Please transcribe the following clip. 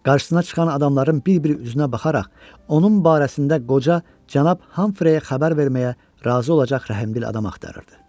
Qarşısına çıxan adamların bir-bir üzünə baxaraq, onun barəsində qoca cənab Hamfreyə xəbər verməyə razı olacaq rəhmdil adam axtarırdı.